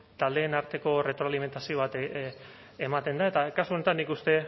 taldeen arteko retroalimentazio bat ematen da eta kasu honetan nik uste